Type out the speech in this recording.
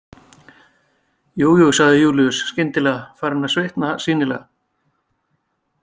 Jújú, sagði Júlíus, skyndilega farinn að svitna sýnilega.